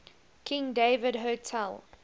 king david hotel